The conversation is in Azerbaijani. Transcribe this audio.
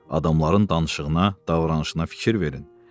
Adamların danışığına, davranışına fikir verin.